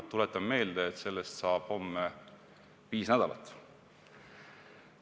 Tuletan meelde, et sellest saab homme viis nädalat.